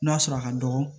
N'a sɔrɔ a ka dɔgɔ